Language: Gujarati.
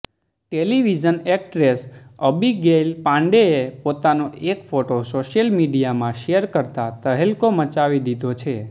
ટેલિવિઝન એક્ટ્રેસ અબિગૈલ પાન્ડેએ પોતાનો એક ફોટો સોશિયલ મીડિયામાં શેર કરતાં તહેલકો મચાવી દીધો છે